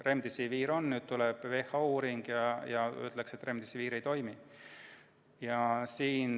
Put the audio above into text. Remdesivir on, aga nüüd tuleb WHO uuring ja see nagu ütleks, et Remdesivir ei toimi.